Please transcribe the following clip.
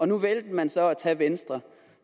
nu valgte man så at tage venstre